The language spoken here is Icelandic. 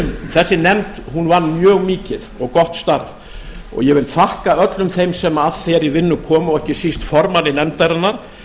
þessi nefnd vann mjög mikið og gott starf og ég vil þakka öllum þeim sem að þeirri vinnu komu og ekki síst formanni nefndarinnar